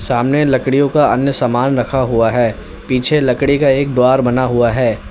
सामने लकड़ियो का अन्य सामान रखा हुआ है पीछे एक लकड़ी का द्वारा बना हुआ है।